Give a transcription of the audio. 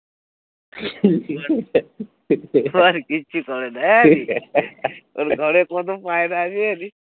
ও আর কিচ্ছু করে না একে ওর ঘরে কত পায়রা আছে জানিস?